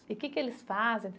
E que que eles fazem?